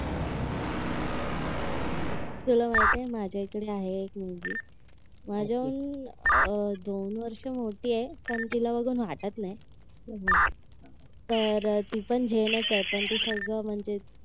तुला माहितेय माझ्या इकडे आहे एक मुलगी माझ्याहून अह दोन वर्ष मोठी आहे पण तिला बघून वाटत नाही तर ती पण जैन च आहे पण ती सगळं म्हणजे